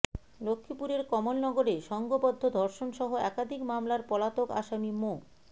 লক্ষ্মীপুরের কমলনগরে সংঘবদ্ধ ধর্ষণসহ একাধিক মামলার পলাতক আসামি মো